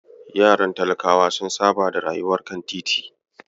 Yaran talakawa sun saba da rayuwar kan titi.